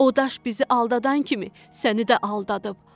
O daş bizi aldatan kimi səni də aldadıb.